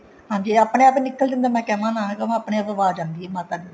ਹਾਂਜੀ ਆਪਣੇ ਆਪ ਹੀ ਨਿੱਕਲ ਜਾਂਦਾ ਆਪਣੇ ਆਪ ਆਵਾਜ ਆਉਂਦੀ ਹੈ ਮਾਤਾ ਦੀ